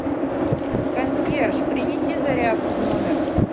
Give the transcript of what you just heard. консьерж принеси зарядку в номер